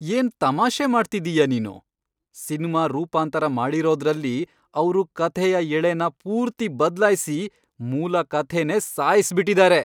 ಏನ್ ತಮಾಷೆ ಮಾಡ್ತಿದ್ದೀಯ ನೀನು? ಸಿನ್ಮಾ ರೂಪಾಂತರ ಮಾಡಿರೋದ್ರಲ್ಲಿ ಅವ್ರು ಕಥೆಯ ಎಳೆನ ಪೂರ್ತಿ ಬದ್ಲಾಯ್ಸಿ ಮೂಲ ಕಥೆನೇ ಸಾಯ್ಸ್ಬಿಟಿದಾರೆ.